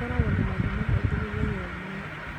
Gũkoragwo na mathomo maingĩ mũthenya ũmwe